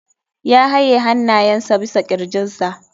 Ya haye hannayensa bisa kirjinsa.